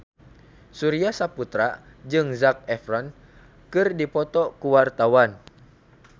Surya Saputra jeung Zac Efron keur dipoto ku wartawan